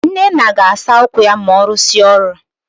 Nnenna ga-asa ụkwụ ya ma ọ rụsịa ọrụ